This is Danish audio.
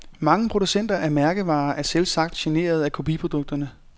Mange producenter af mærkevarer er selvsagt generet af kopiprodukterne.